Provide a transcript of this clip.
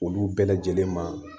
Olu bɛɛ lajɛlen ma